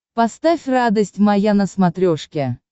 поставь радость моя на смотрешке